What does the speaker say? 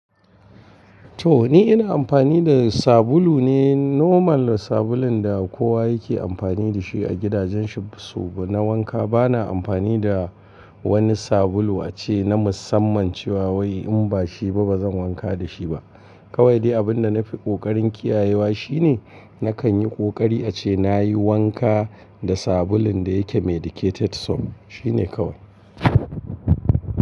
To wani ina amfani da sabulu ne normal sabulun da kowa yake amfani da shi a gidajen shifu na wanka. Bana amfani da wani sabulu ace na musamman cewa wai in ba shi ba bazan wanka da shi ba. Kawai dai abin da na fi kokarin kiyayewa shine nakan yi kokari ace nayi wanka da sabulun da yake medicated soap shine kawai.